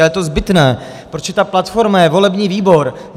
A je to zbytné, protože ta platforma je volební výbor.